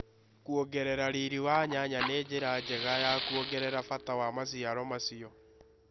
Kuongerera riri wa nyanya nĩ njĩra njega ya kuongerera bata wa maciaro macio.